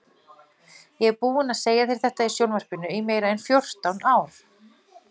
Ég er búinn að segja þetta í sjónvarpinu í meira en fjórtán ár.